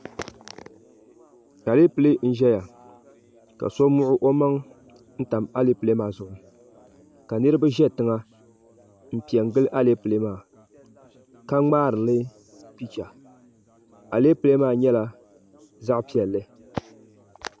aleepile n-zaya ka so muɣu o maŋa n-tami aleepile maa zuɣu ka niriba za tiŋa m-pe n-gili aleepile maa ka ŋmaari li picha alepile maa nyɛla zaɣ' piɛlli